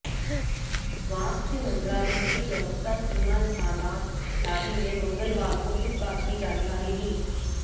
स्वास्थय मंत्रालय की प्रवक्ता सीमा सादात लारी ने मंगलवार को इस बात की जानकारी दी